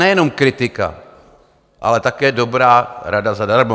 Nejenom kritika, ale také dobrá rada zadarmo.